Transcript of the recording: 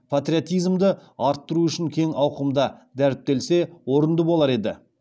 патриотизмді арттыру үшін кең ауқымда дәріптелсе орынды болар еді